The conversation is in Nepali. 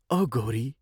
"औ गौरी!